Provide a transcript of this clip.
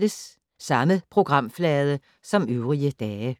Samme programflade som øvrige dage